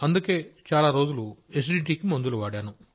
అందుకే చాలా రోజులు అసిడిటీ కి మందులు వాడాను